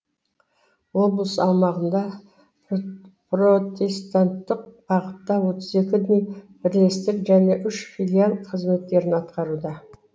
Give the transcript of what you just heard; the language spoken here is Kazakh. облыс аумағында протестанттық бағытта отыз екі діни бірлестік және үш филиал қызметтерін атқаруда